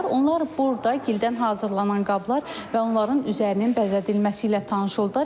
Onlar burada gildən hazırlanan qablar və onların üzərinin bəzədilməsi ilə tanış oldular.